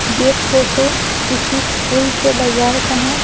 यह फोटो किसी फूल के बाजार का है।